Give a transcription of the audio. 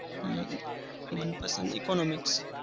અમ મનપસંદ economics